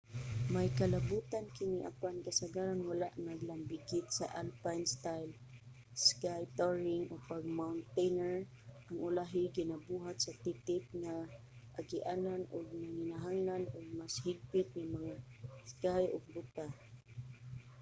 may kalabutan kini apan kasagaran wala naglambigit sa alpine style ski touring o pag-mountaineer ang ulahi ginabuhat sa titip nga agianan ug nanginahanglan og mas higpit nga mga ski ug bota